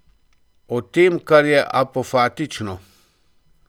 O tem kar je apofatično.